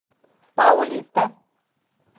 паулиста